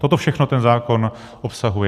Toto všechno ten zákon obsahuje.